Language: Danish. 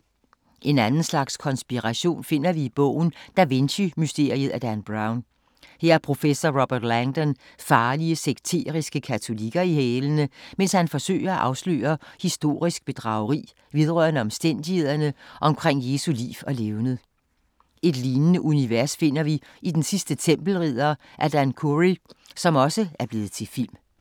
En anden slags konspiration finder vi i bogen Da Vinci mysteriet af Dan Brown. Her har professoren Robert Langdon farlige sekteriske katolikker i hælene, mens han forsøger at afsløre historisk bedrageri vedrørende omstændighederne omkring Jesu liv og levned. Et lignende univers finder vi i Den sidste Tempelridder af Dan Khoury, som også er blevet til film.